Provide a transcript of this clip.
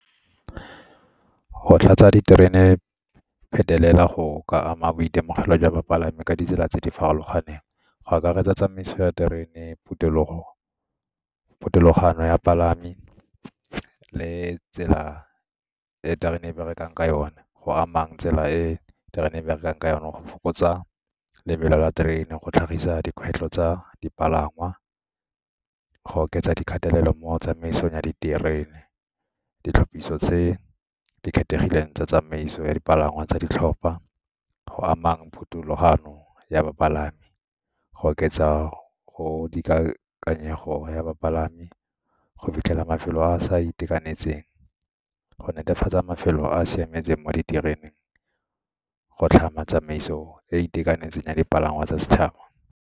Go tlatsa diterene phetelela go ka ama boitemogelo jwa bapalami ka ditsela tse di farologaneng go akaretsa tsamaiso ya terene, ya 'palami le tsela e terena e berekang ka yone go amang tsela e terena e berekang ka yone go fokotsa lebelo la terene, go tlhagisa dikgwetlho tsa dipalangwa, go oketsa dikgatelelo mo tsamaisong ya diterene, ditlhapiso tse di kgethegileng tsa tsamaiso ya dipalangwa tsa ditlhopha go amang phuthulogano ya bapalami, go oketsa go dikakanyego ya bapalami, go fitlhela mafelo a a sa itekanetseng, go netefatsa mafelo a a siametseng mo ditereneng, go tlhama tsamaiso e e itekanetseng ya dipalangwa tsa setšhaba.